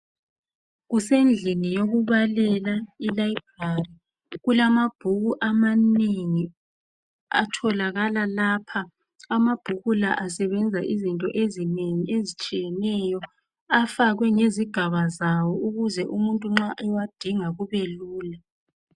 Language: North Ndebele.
Kusendlini yokubalela i library kulamabhuku amanengi atholakala lapha amabhuku la asebenza into ezinengi ezitshiyeneyo afakwe ngezigaba zawo ukuze umuntu nxa ewadinga kube lula